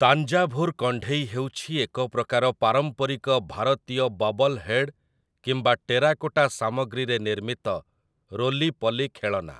ତାଞ୍ଜାଭୁର୍ କଣ୍ଢେଇ ହେଉଛି ଏକ ପ୍ରକାର ପାରମ୍ପରିକ ଭାରତୀୟ ବବଲ୍ ହେଡ୍ କିମ୍ବା ଟେରାକୋଟା ସାମଗ୍ରୀରେ ନିର୍ମିତ ରୋଲି ପଲି ଖେଳନା ।